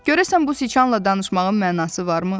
Görəsən bu siçanla danışmağın mənası varmı?